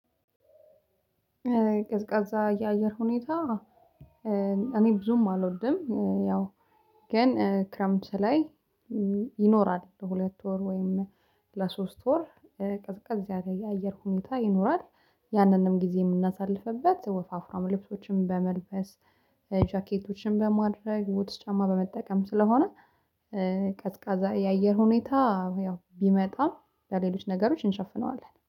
ቀዝቃዛ የአየር ሁኔታ እኔ ብዙም አልወድም። ያው ግን ክረምት ላይ ይኖራል ለሁለት ወር ወይም ለሶስት ወር ቅዝቅዝ ያገኘ አየር ሁኔታ ይኖራል። ያንንም ጊዜ የምናሳልፍበት ወፋፍራም ልብሶችንም በመልበስ ጃኬቶችን በማድረግ ቡትስ ጫማ በመጠቀም ስለሆነ። ቀዝቃዛ የአየር ሁኔታ ያው ቢመጣም ለሌሎች ነገሮች እንሸፍነዋለን